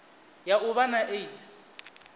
ya u vha na aids